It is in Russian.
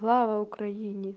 слава украине